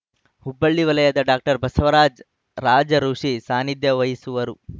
ಹುಬ್ಬಳ್ಳಿ ವಲಯದ ಡಾಕ್ಟರ್ ಬಸವರಾಜ ರಾಜಋುಷಿ ಸಾನಿಧ್ಯ ವಹಿಸುವರು